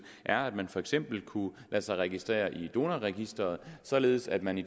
er at man for eksempel kunne lade sig registrere i donorregisteret således at man i